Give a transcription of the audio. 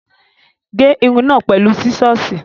Gé irun náà pẹ̀lú sísọ́ọ̀sì.